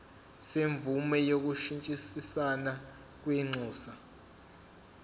semvume yokushintshisana kwinxusa